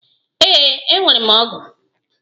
Ee, enwere m ọgụ.